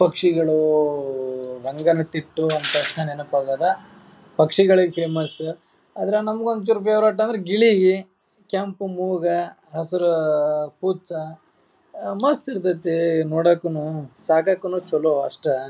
ಪಕ್ಷಿಗಳು ರಂಗನತಿಟ್ಟು ಅಂಥ ತಕ್ಷಣ್ ನೆನಪ್ ಆಗದ ಪಕ್ಷಿಗಳಿಗೆ ಫೇಮಸ್ . ಅದ್ರ ನಮ್ಗ್ ಒಂಚೂರ್ ಫೇವರಿಟ್ ಅಂದ್ರೆ ಗಿಳಿ ಕೆಂಪು ಮೂಗು ಹಸಿರು ಕುಚ್ಚ. ಮಸ್ತ್ ಇರತೇತಿ ನೋಡಾಕನು ಸಾಕಾಕನು ಅಷ್ಟ.